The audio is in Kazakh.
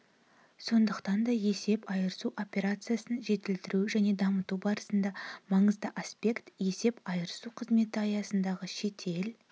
сондықтан да есеп айырысу операциясын жетілдіру және дамыту барысындағы маңызды аспект есеп айырысу қызметі аясындағы шетел